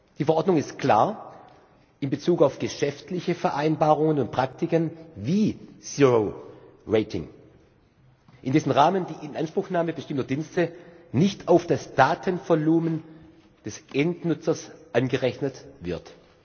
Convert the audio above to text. Die Verordnung ist klar in Bezug auf geschäftliche Vereinbarungen und Praktiken wie Zero Rating, in dessen Rahmen die Inanspruchnahme bestimmter Dienste nicht auf das Datenvolumen des Endnutzers angerechnet wird.